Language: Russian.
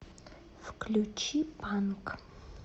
включи панк